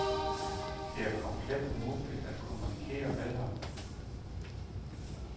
Det er komplet umuligt at kommunikere med ham.